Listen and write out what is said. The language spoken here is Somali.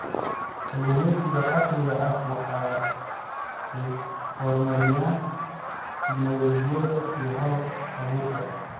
Kalluumaysiga casriga ahi waxa ay horumariyaan tignoolajiyada iyo hal-abuurka.